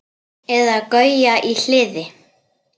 Eða Gauja í Hliði!